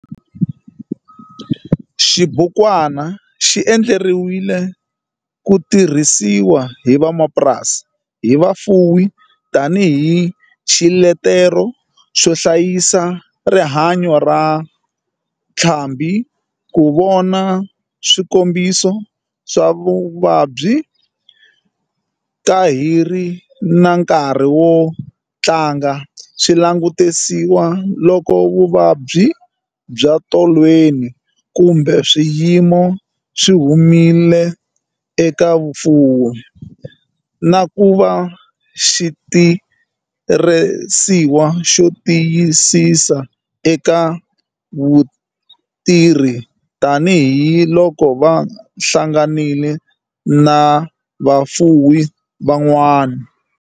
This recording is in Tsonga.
Xibukwana xi endleriwile ku tirhisiwa emapurasini hi vafuwi tani hi xiletelo xo hlayisa rihanyo ra ntlhambhi, ku vona swikombiso swa vuvabyi ka hi ri na nkarhi ku hatla swi langutisiwa loko vuvabyi bya tolweni kumbe swiyimo swi humile eka fuwo, na ku va xitirhisiwa xo tirhiseka eka vutirhi tani hi loko va hlangana na vafuwi van'wana.